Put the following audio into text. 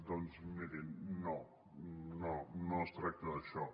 doncs mirin no no no es tracta d’això